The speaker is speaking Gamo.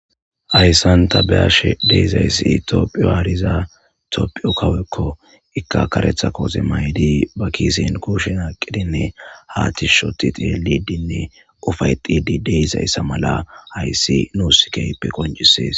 Ayssan tabeyashe deyzayssi toophiyo aariza toophiyo kawekko ikkakaretha kooxe maydi ba kiisen kushin aqidinne ha tis shoti xilidinne ufay xidi deysayssa mala hayssi nuus keyppe qoncisees.